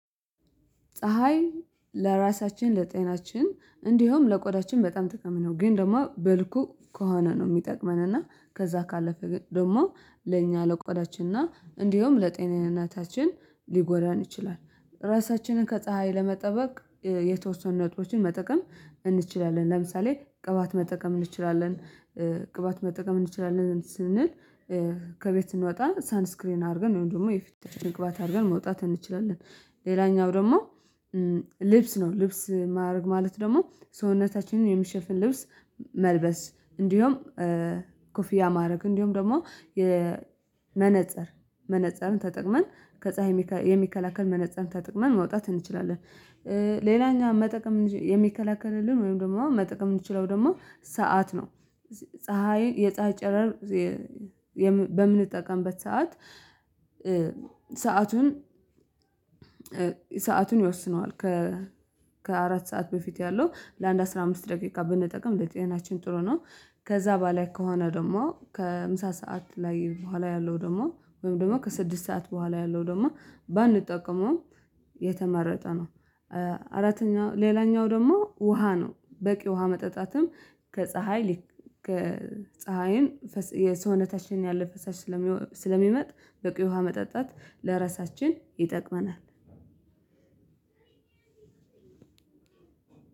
ፀሀይ ለራሳችን ለጤናችን እንዲሁም ለቆዳችን በጣም ጥቅም ነው ግን ደግሞ በልኩ ከሆነ ነው የሚጠቅመን እና ከዛ ካለፈ ደግሞ ለእኛ ለቆዳችን እና እንዲሁም ለጤንነታችን ሊጎዳን ይችላል። ራሳችንን ከፀሀይ ለመጠበቅ የተወሰኑ ነጥቦችን መጠቀም እንችላለን ለምሳሌ ቅባት መጠቀም እንችላለን። ቅባት መጠቀም እንችላለን ስንል ከቤት ስንወጣ ሳንስክሪን አድርገን ወይም ደግሞ የፊት ትንግባት አድርገን መውጣት እንችላለን። ሌላኛው ደግሞ ልብስ ነው ልብስ ማድረግ ማለት ደግሞ ሰውነታችንን የሚሸፍን ልብስ መልበስ እንዲሁም ኮፊያ ማድረግ እንዲሁም ደግሞ የመነፀር መነፀርን ተጠቅመን ከፀሀይ የሚከላከል መነፀር ተጠቅመን ማውጣት እንችላለን። ሌላኛው መጠቀም የሚከላከልልን ወይም ደግሞ መጠቀም የምንችለው ደግሞ ሰዓት ነው ፀሀይ የፀሀይ ጨረር በምንጠቀምበት ሰዓት ሰአቱን ሰአቱን ይወስነዋል ከ ከአራት ሰዓት በፊት ያለው ለአንድ አስራ አምስት ደቂቃ ብንጠቀም ለጤናችን ጥሩ ነው። ከዛ በላይ ከሆነ ደግሞ ከምሳ ሰዓት ላይ በኋላ ያለው ደግሞ ወይም ደግሞ ከስድስት ሰዓት በኋላ ያለው ደግሞ ባንጠቀመውም የተመረጠ ነው። አራተኛው ሌላኛው ደግሞ ውሃ ነው በቂ ውሃ መጠጣትም ከፀሀይ ልክ ከፀሀይን የሰውነታችን ያለ ፈሳሽ ስለሚመጥ በቂ ውሃ መጣጣት ለራሳችን ይጠቅመናል።